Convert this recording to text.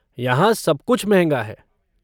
यहाँ सब कुछ महंगा है।